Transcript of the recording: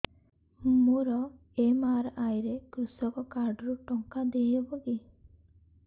ମୋର ଏମ.ଆର.ଆଇ ରେ କୃଷକ କାର୍ଡ ରୁ ଟଙ୍କା ଦେଇ ହବ କି